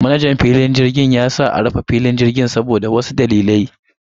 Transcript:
Manajan filin jirgin ya sa a rufe filin jirgin saboda wasu dalilai.